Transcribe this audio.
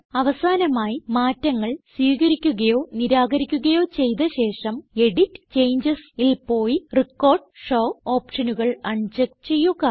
അവസാനമായി മാറ്റങ്ങൾ സ്വീകരിക്കുകയോ നിരാകരിക്കുകയോ ചെയ്ത ശേഷം എഡിറ്റ് ജിടിജിടി CHANGESൽ പോയി റെക്കോർഡ് ഷോ ഓപ്ഷനുകൾ അൺ ചെക്ക് ചെയ്യുക